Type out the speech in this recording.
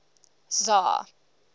czar